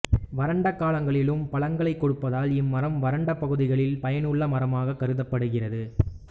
வறண்ட காலங்களிலும் பழங்களைக் கொடுப்பதால் இம்மரம் வறண்ட பகுதிகளில் பயனுள்ள மரமாக கருதப்படுகிறது